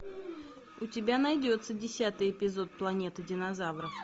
у тебя найдется десятый эпизод планеты динозавров